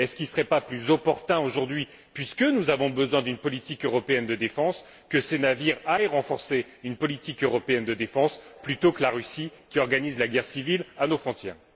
Ne serait il pas plus opportun aujourd'hui, puisque nous avons besoin d'une politique européenne de défense, que ces navires aillent renforcer une politique européenne de défense plutôt que la Russie qui organise la guerre civile à nos frontières?